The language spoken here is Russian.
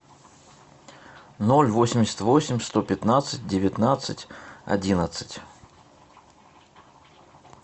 ноль восемьдесят восемь сто пятнадцать девятнадцать одиннадцать